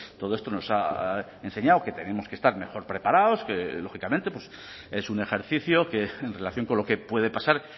todo esto nos ha enseñado que tenemos que estar mejor preparados que lógicamente es un ejercicio que en relación con lo que puede pasar